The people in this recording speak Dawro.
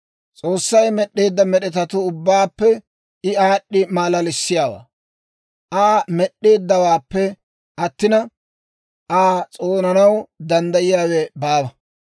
«S'oossay med'd'eedda med'etatuu ubbaappe I aad'd'i malalissiyaawaa. Aa Med'd'eeddawaappe attina, Aa s'oonanaw danddayiyaawe baawa.